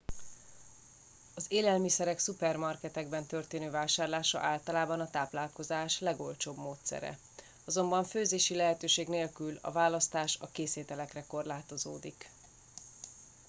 az élelmiszerek szupermarketekben történő vásárlása általában a táplálkozás legolcsóbb módszere azonban főzési lehetőség nélkül a választás a készételekre korlátozódik